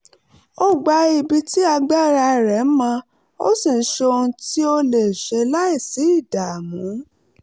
ó gba ibi tí agbára rẹ̀ mọ ó sì ń ṣe ohun tí ó lè ṣe láìsí ìdààmú